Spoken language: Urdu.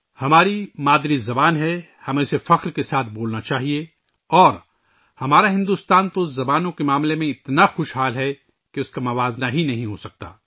ہماری مادری زبان ہے، ہمیں اسے فخر سے بولنا چاہیئے اور ہمارا بھارت تو زبانوں کے معاملے میں اتنا امیر ہے کہ اس کا تو موازنہ ہی نہیں کیا جا سکتا